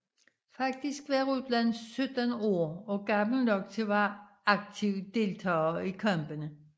Faktisk var Rutland 17 år og gammel nok til at være aktiv deltager i kampene